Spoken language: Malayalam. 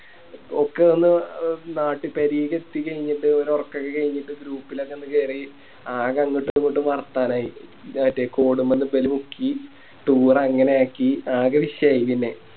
ഒക്കെ ഒന്ന് നാട്ട് പേരെക്ക് എത്തിക്കയിഞ്ഞിട്ട് ഒരോറക്കൊക്കെ കയിഞ്ഞിട്ട് Group ലോക്കെ ഒന്ന് കേറി ആകെ അങ്ങോട്ടു ഇങ്ങോട്ടു വർത്താനായി മറ്റേ Code മ്മല് ക്കി Toure അങ്ങനെ ആക്കി ആകെ വിഷയായി പിന്നെ